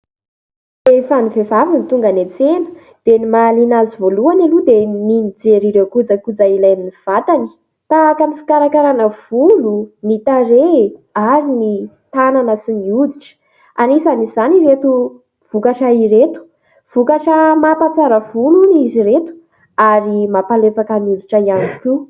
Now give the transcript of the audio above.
Rehefa ny vehivavy ny tonga eny an-tsena dia ny mahaliana azy voalohany aloha dia ny mijery ireo kojakoja ilain'ny vatany : tahaka ny fikarakarana volo ny tarehy ary ny tanana sy ny hoditra. Anisany izany ireto vokatra ireto vokatra mampahatsara volo izy ireto ary mampahalefaka ny hoditra ihany koa.